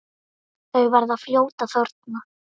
Þau verða fljót að þorna.